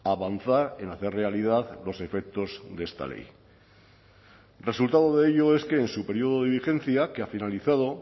a avanzar en hacer realidad los efectos de esta ley resultado de ello es que en su periodo de vigencia que ha finalizado